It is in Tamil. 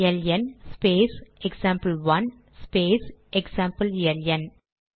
LN space example space example LN